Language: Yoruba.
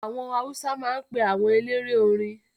Àwọn Awúsá máa ń pe àwọn eléré orin